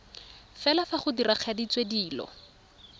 fela fa go diragaditswe dilo